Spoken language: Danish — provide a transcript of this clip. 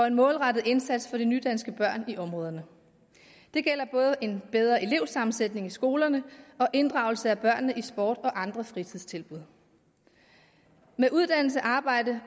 en målrettet indsats for de nydanske børn i områderne det gælder både en bedre elevsammensætning i skolerne og inddragelse af børnene i sports og andre fritidstilbud med uddannelse arbejde